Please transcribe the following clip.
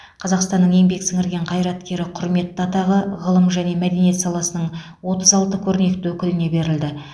қазақстанның еңбек сіңірген қайраткері құрметті атағы ғылым және мәдениет саласының отыз алты көрнекті өкіліне берілді